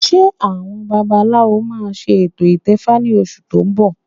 Ṣé àwọn babaláwo máa ṣe ètò ìtẹfa ní oṣù tó ń bọ̀?